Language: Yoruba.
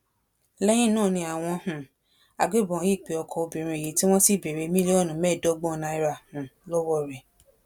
lẹyìn náà ni àwọn um agbébọn yìí pe ọkọ obìnrin yìí tí wọn sì béèrè mílíọnù mẹ́ẹ̀ẹ́dọ́gbọ̀n náírà um lọ́wọ́ rẹ̀